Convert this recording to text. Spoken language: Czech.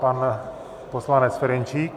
Pan poslanec Ferjenčík.